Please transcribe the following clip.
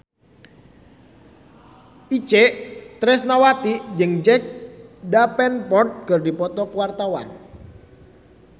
Itje Tresnawati jeung Jack Davenport keur dipoto ku wartawan